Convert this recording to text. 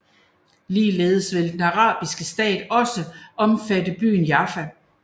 Ligeledes ville den arabiske stat også omfatte byen Jaffa